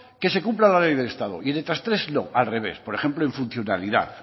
que se cumpla la ley del estado y en estas tres no al revés por ejemplo en funcionalidad